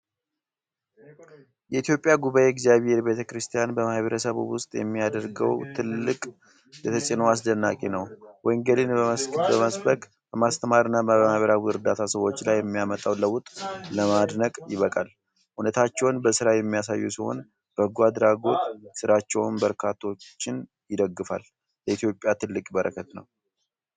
የኢትዮጵያ ጉባኤ እግዚአብሄር ቤተ-ክርስቲያን በማኅበረሰቡ ውስጥ የሚያደርገው ጥልቅ ተፅዕኖ አስደናቂ ነው! ወንጌልን በመሰበክ፣ በማስተማርና በማህበራዊ እርዳታ ሰዎች ላይ የሚያመጣው ለውጥ ለማድነቅ ይበቃል። እምነታቸውን በሥራ የሚያሳዩ ሲሆን፣ በጎ አድራጎት ሥራቸውም በርካቶችን ይደግፋል። ለኢትዮጵያ ትልቅ በረከት ነው!